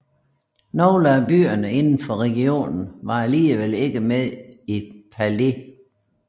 Nogle af byerne indenfor regionen var alligevel ikke med i Pale